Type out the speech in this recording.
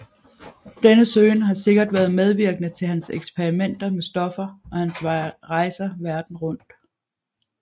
Denne søgen har sikkert været medvirkende til hans eksperimenter med stoffer og hans rejser rundt i verden